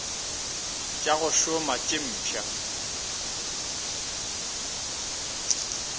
tša go šoma tše mpšha